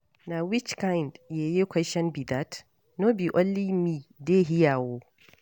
Na which kin yeye question be dat? No be only me dey here oo